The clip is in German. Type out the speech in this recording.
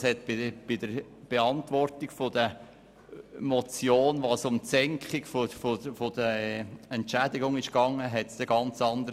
Bei der Beantwortung der Motion, in der es um die Senkung der Entschädigungen ging, tönte es ganz anders.